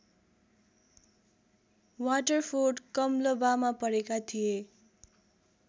Waterford कम्लबामा पढेका थिए